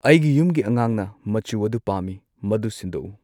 ꯑꯩꯒꯤ ꯌꯨꯝꯒꯤ ꯑꯉꯥꯡꯅ ꯃꯆꯨ ꯑꯗꯨ ꯄꯥꯝꯃꯤ ꯃꯗꯨ ꯁꯤꯟꯗꯣꯛꯎ